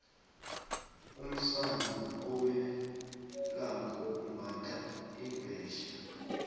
umsana owelako umbatha ibhetjha